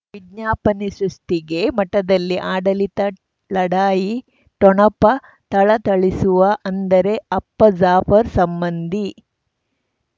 ವಿಜ್ಞಾಪನೆ ಸೃಷ್ಟಿಗೆ ಮಠದಲ್ಲಿ ಆಡಳಿತ ಲಢಾಯಿ ಠೊಣಪ ಥಳಥಳಿಸುವ ಅಂದರೆ ಅಪ್ಪ ಜಾಫರ್ ಸಂಬಂಧಿ